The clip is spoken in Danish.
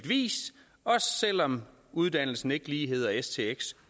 vis også selv om uddannelsen ikke lige hedder stx